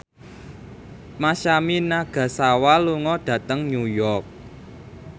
Masami Nagasawa lunga dhateng New York